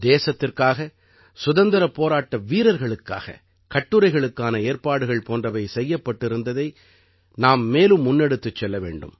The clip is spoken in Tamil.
தேசத்திற்காக சுதந்திரப் போராட்ட வீரர்களுக்காக கட்டுரைகளுக்கான ஏற்பாடுகள் போன்றவை செய்யப்பட்டிருந்ததை நாம் மேலும் முன்னெடுத்துச் செல்ல வேண்டும்